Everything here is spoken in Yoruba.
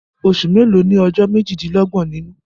Osù mélòó ni ó ní ọjọ́ méjì-dín-lọ́gbọ̀n nínú?